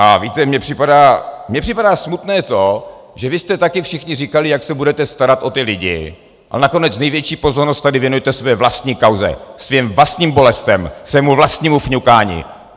A víte, mně připadá smutné to, že vy jste taky všichni říkali, jak se budete starat o ty lidi, a nakonec největší pozornost tady věnujete své vlastní kauze, svým vlastním bolestem, svému vlastnímu fňukání.